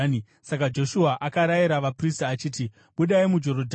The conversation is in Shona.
Saka Joshua akarayira vaprista achiti, “Budai muJorodhani.”